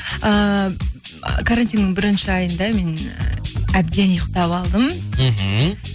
ііі карантиннің бірінші айында мен әбден ұйықтап алдым мхм